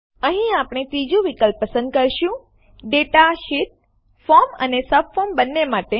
અહીં આપણે ત્રીજું વિકલ્પ પસંદ કરીશું ડેટા શીટ માહિતી પત્ર ફોર્મ અને સબફોર્મ બંને માટે